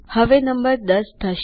હવે નંબર ૧૦ થશે